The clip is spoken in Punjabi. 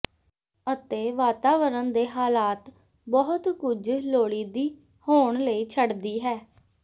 ਅਤੇ ਵਾਤਾਵਰਣ ਦੇ ਹਾਲਾਤ ਬਹੁਤ ਕੁਝ ਲੋੜੀਦੀ ਹੋਣ ਲਈ ਛੱਡਦੀ ਹੈ